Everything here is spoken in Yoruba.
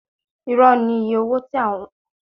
Irọ́ ni iye owó tí wọ́n lẹ̀ mọ́ ọjà ní ilé-ìtajà Zuma